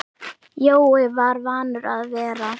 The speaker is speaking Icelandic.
Jói var vanur að vera.